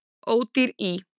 Ódýr í